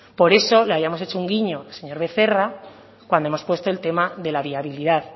por eso le habíamos hecho un guiño señor becerra cuando hemos puesto el tema de la viabilidad